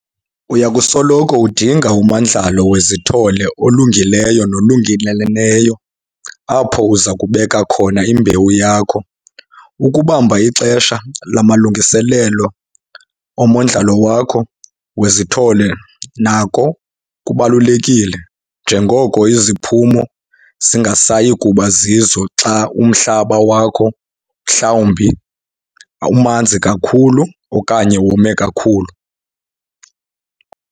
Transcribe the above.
Uya kusoloko udinga umandlalo wezithole olungileyo nolungeleleneyo apho uza kubeka khona imbewu yakho. Ukubamba ixesha lamalungiselelo omondlalo wakho wezithole nako kubalulekile njengoko iziphumo zingasayi kuba zizo xa umhlaba wakho mhlawumbi umanzi kakhulu okanye wome kakhulu.